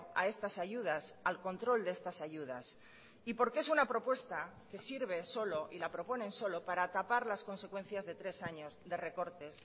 a estas ayudas al control de estas ayudas y porque es una propuesta que sirve solo y la proponen solo para tapar las consecuencias de tres años de recortes